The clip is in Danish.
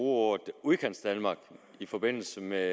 ordet udkantsdanmark i forbindelse med